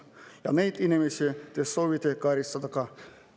Ja neid inimesi te soovite karistada …